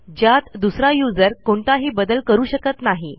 ज्यात दुसरा userकोणताही बदल करू शकत नाही